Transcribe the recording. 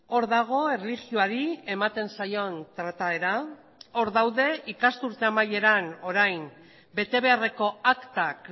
hor dago erlijioari ematen zaion trataera hor daude ikasturte amaieran orain bete beharreko aktak